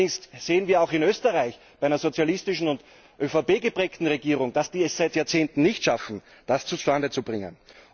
Allerdings sehen wir auch in Österreich, in einer sozialistischen und ÖVP geprägten Regierung, dass wir es seit Jahrzehnten nicht schaffen, das zustande zu bringen.